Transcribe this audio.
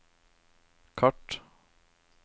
kart